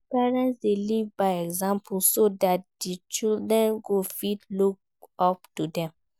Parents de live by example so that di children go fit look up to dem